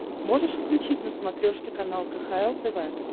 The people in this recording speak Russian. можешь включить на смотрешке канал кхл тв